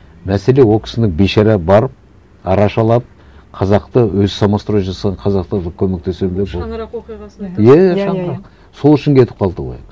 мәселе ол кісіні бейшара барып арашалап қазақты өзі самострой жасаған қазақтарға көмектесемін деп ол шанырақ оқиғасын иә шанырақ сол үшін кетіп қалды ғой